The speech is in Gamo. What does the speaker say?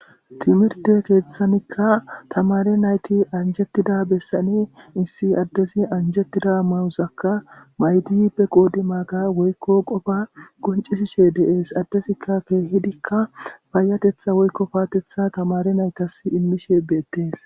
Timirtte keethanikka tamaare nayti anjjetida bessani issi addezi anjjettida mayozakka mayidi be qodimaaga woykko qofaa qonccishishe de7es. Addezikka keehidikka payyatetja woykko paatetha tamare naytas immishe beettees.